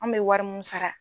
An bɛ wari munnu sara.